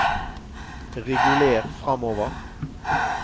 reguler framover